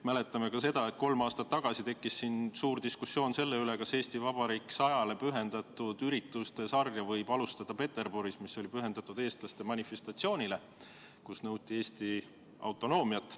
Mäletame ka seda, et kolm aastat tagasi tekkis suur diskussioon selle üle, kas Eesti Vabariigi 100. aastapäevale pühendatud ürituste sarja võib alustada Peterburis ja üritusega, mis oli pühendatud eestlaste manifestatsioonile, kus nõuti Eesti autonoomiat.